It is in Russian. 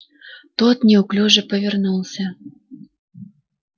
тот неуклюже повернулся